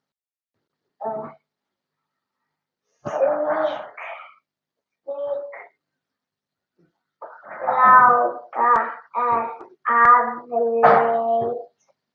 Slík blanda er afleit.